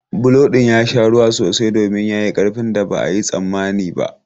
Bulo ɗin ya sha ruwa sosai domin ya yi ƙarfin da ba a yi tsammani ba.